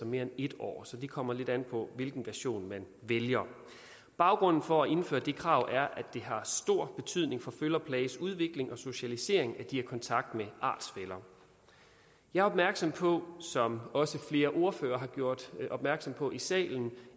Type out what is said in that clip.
mere end et år så det kommer lidt an på hvilken version man vælger baggrunden for at indføre det krav er at det har stor betydning for føl og plages udvikling og socialisering at de har kontakt med artsfæller jeg er opmærksom på som også flere ordførere har gjort opmærksom på i salen